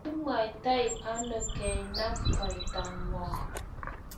kimwoitano kainab kaitang'wong'?